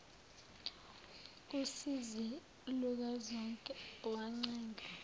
usizi lukazonke wancenga